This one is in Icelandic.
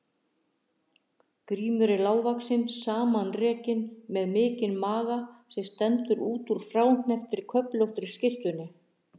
Grímur er lágvaxinn, samanrekinn, með mikinn maga sem stendur út úr fráhnepptri köflóttri skyrtunni.